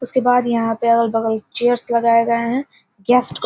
उसके बाद यहाँ पे अगल-बगल चेयर्स लगाए गए हैं। गेस्ट को --